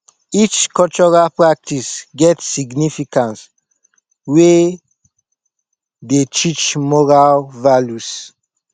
each cultural practice get significance wey dey teach moral values